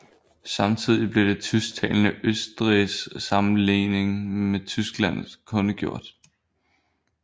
Samtidig blev det tysktalende Østrigs sammenlægning med Tyskland kundgjort